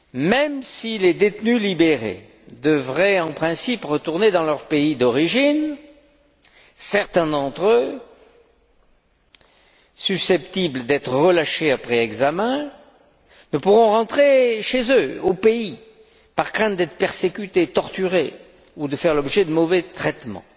Même si les détenus libérés devraient en principe retourner dans leur pays d'origine, certains d'entre eux, susceptibles d'être relâchés après examen, ne pourront rentrer chez eux, au pays, par crainte d'être persécutés, torturés, ou de faire l'objet de mauvais traitements.